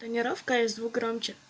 тонировка и звук громче